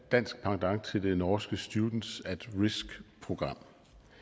dansk pendant til det norske students at risk program